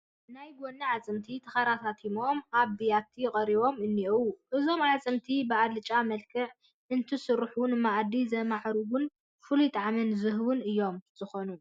ናይ ጐኒ ኣዕፅምቲ ተኸረታቲሞም ኣብ ቢያቲ ቀሪቦም እኔዉ፡፡ እዞም ኣዕፅምቲ ብኣልጫ መልክዕ እንትስርሑ ንመኣዲ ዘማዕርጉን ፍሉይ ጣዕሚ ዝህቡን እዮም ዝኾኑ፡፡